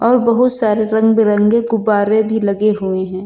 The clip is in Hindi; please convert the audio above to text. और बहुत सारे रंग बिरंगे गुब्बारे भी लगे हुए हैं।